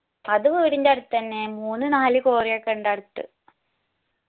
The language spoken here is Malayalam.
അത് വീടിന്റെ അടത്തെന്നെ മൂന്ന് നാല് cory ഒക്കെയുണ്ട് അടത്ത്